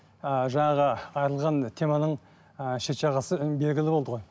ыыы жаңағы теманың ы шет жағасы белгілі болды ғой